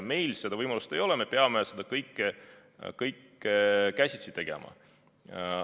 Meil seda võimalust ei ole, me peame seda kõike käsitsi tegema.